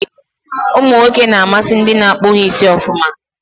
Umụ nwoke n'amasị ndị n'akpu ha isi ọfụma